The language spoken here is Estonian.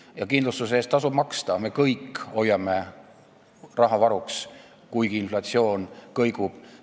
Ja kindlustuse eest tasub maksta – me kõik hoiame raha varuks, kuigi inflatsioon kõigub.